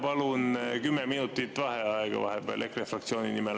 Palun 10 minutit vaheaega EKRE fraktsiooni nimel.